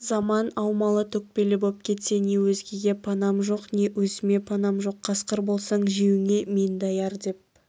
заман аумалы-төкпелі боп кетсе не өзгеге панам жоқ не өзіме панам жоқ қасқыр болсаң жеуіңе мен даяр деп